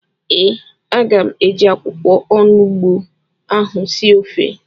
ee, aga m eji akwụkwọ onugbu ahụ sie ofe